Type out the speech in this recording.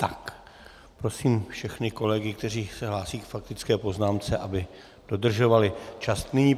Tak, prosím všechny kolegy, kteří se hlásí k faktické poznámce, aby dodržovali čas.